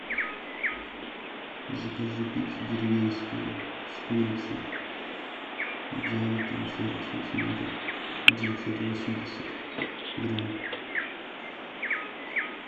закажи пиццу деревенскую с курицей диаметром сорок сантиметров девятьсот восемьдесят грамм